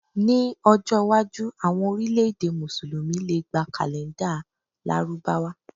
Ní ọjọ́ iwájú, àwọn orílẹ̀-èdè Mùsùlùmí lè gba kàlèńdà Lárúbáwá.